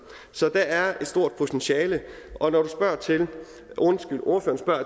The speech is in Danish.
så der er et stort potentiale når ordføreren